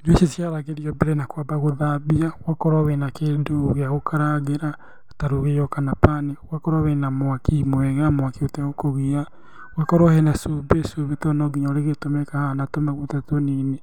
Irio icio ciharagĩrio mbere na kwamba gũthambio. Ugakorwo wĩna kĩndũ gĩa gũkarangĩra ta rũgĩo kana pan. Ũgakorwo wĩna mwaki mwega, mwaki ũtegũkũgia. Ũgakorwo hena cumbĩ, cumbĩ tondũ no nginya urĩgĩtũmĩka haha na tũmaguta tũnini.